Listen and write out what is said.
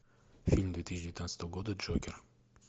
фильм две тысячи девятнадцатого года джокер